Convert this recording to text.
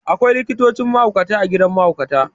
Akwai likitocin mahaukata a gidan mahaukata.